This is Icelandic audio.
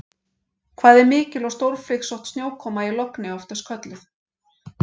Hvað er mikil og stórflygsótt snjókoma í logni oft kölluð?